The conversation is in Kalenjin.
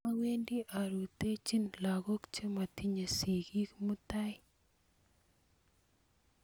awendi arutoichin lakok chematinyei sikiik mutai